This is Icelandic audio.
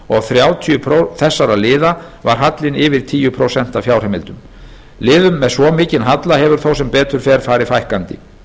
og hjá þrjátíu þessara liða var hallinn yfir tíu prósent af fjárheimildum liðum með svo mikinn halla hefur þó sem betur fer farið fækkandi